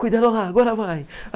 Cuidado lá, agora vai!